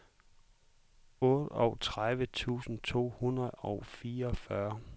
otteogtredive tusind to hundrede og fireogfyrre